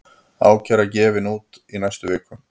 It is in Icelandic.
Ákæra gefin út í næstu viku